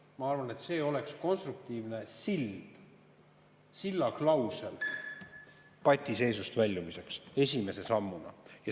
Ma arvan, et see oleks esimese sammuna konstruktiivne sild, sillaklausel patiseisust väljumiseks.